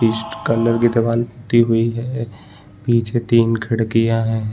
पीस्ट colour की दीवार दी गयी है पीछे तीन खिड़कियाँ है।